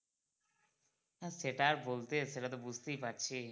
না সেটা আর বলতে সেটা তো বুঝতেই পারছি।